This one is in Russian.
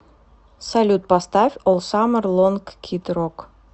салют поставь ол самэр лонг кид рок